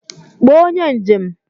Kpọọ onye njem!